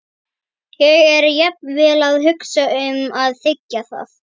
Ég er jafnvel að hugsa um að þiggja það.